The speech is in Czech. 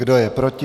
Kdo je proti?